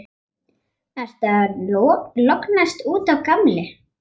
Ertu að lognast út af, gamli?